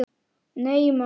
Nei, maður!